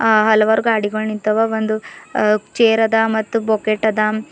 ಆ ಹಲವಾರು ಗಾಡಿಗಳ್ ನಿಂತವ ಒಂದು ಚೇರ್ ಅದ ಬೋಕೆಟ್ ಅದ.